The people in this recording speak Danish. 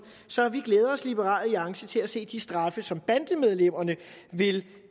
så vi glæder os i liberal alliance til at se de straffe som bandemedlemmerne vil